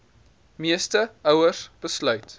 meeste ouers besluit